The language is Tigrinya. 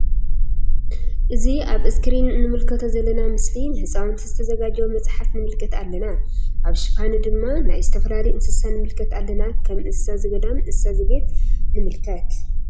እዚ አብ እስክሪን እንምልከቶ ዘለና ምስሊ ንህፃውንቲ ዝተዘጋጀወ መፅሓፍ ንምልከት አለና ::አብ ሽፋኑ ድማ ናይ ዝተፈላለዩ እንስሳ ንምልከት አለና ከም እንስሳ ዘገዳም እንስሳ ዘቤት ንምልከት::